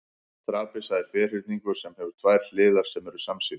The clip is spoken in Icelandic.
trapisa er ferhyrningur sem hefur tvær hliðar sem eru samsíða